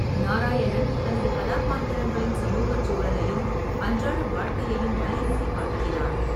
நாராயணன் தனது கதாபாத்திரங்களின் சமூகச் சூழலையும் அன்றாட வாழ்க்கையையும் வலியுறுத்திக் காட்டுகிறார்.